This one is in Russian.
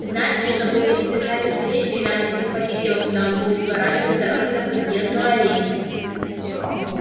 значит чтобы увидеть отца без свидетелей надо перехватить его когда он будет сворачивать с дороги на подъездную аллею